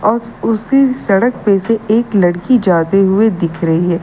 औस उसी सड़क पे से एक लड़की जाते हुए दिख रही है।